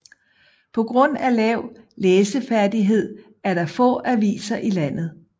På grund af lav læseferdighed er der få aviser i landet